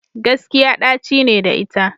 Gaskiya ɗaci ne da ita.